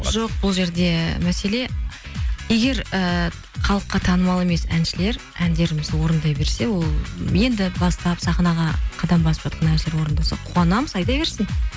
жоқ бұл жерде мәселе егер ііі халыққа танымал емес әншілер әндерімізді орындай берсе ол енді бастап сахнаға қадам басып жатқан әншілер орындаса қуанамыз айта берсін